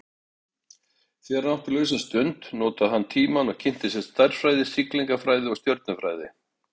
Þegar hann átti lausa stund notaði hann tímann og kynnti sér stærðfræði, siglingafræði og stjörnufræði.